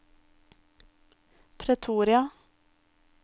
Pretoria